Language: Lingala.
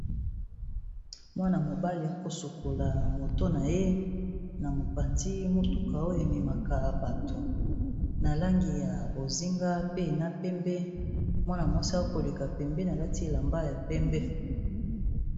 Mwana-mobali a kosukola motu na ye na mopanzi motuka oyo ememaka bato. Na langi ya bozinga, pe na pembe, mwana mwasi akoleka pembeni alati elamba ya pembe.